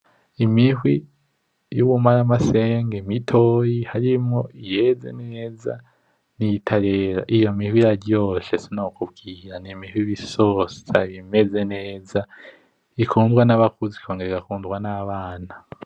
Imihwi y’ubumaramasenge mitoyi, harimwo iyeze neza n’iyitarera. Iyo mihwi iraryoshe sinokubwira, n’imihwi iba isosa, ibimeze neza ikundwa n’abakuze ikongera igakundwa n’abana.